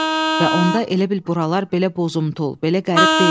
Və onda elə bil buralar belə bozumtul, belə qərib deyildi.